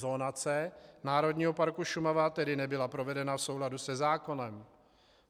Zonace Národního parku Šumava tedy nebyla provedena v souladu se zákonem.